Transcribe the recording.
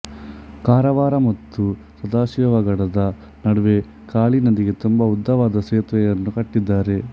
ಕಾರವಾರ ಮತ್ತು ಸದಾಶಿವಗಡದ ನಡುವೆ ಕಾಳಿ ನದಿಗೆ ತುಂಬಾ ಉದ್ದವಾದ ಸೇತುವೆಯನ್ನು ಕಟ್ಟಿದ್ದಾರೆ